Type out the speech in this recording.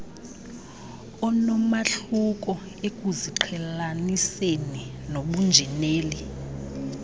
onomahluko ekuziqhelaniseni nobunjineli